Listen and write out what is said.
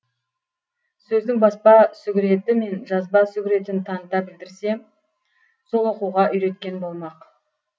сөздің баспа сүгіреті мен жазба сүгіретін таныта білдірсе сол оқуға үйреткен болмақ